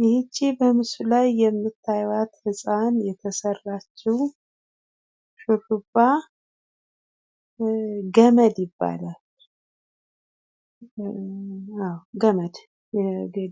ይህች በምስሉ ላይ የምታዩአት ህፃን የተሰራችው ሹሩባ ገመድ ይባላል። አወ ገመድ!